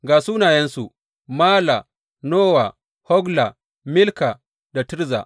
Ga sunayensu, Mala, Nowa, Hogla, Milka da Tirza.